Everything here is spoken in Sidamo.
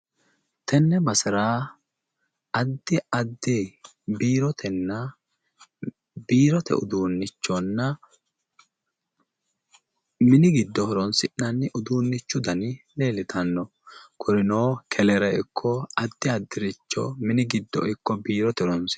Tenne basera addi addi biirotenna biirote uduunnichonna mini giddo horoonsi'nanni uduunnichu dani leellitanno. Kurino kelere ikko addi addiricho mini giddo ikko biirote horoonsi'nanni.